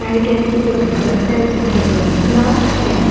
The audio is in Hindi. राइट एंड की तरफ बस है जिसका डोर खुला है।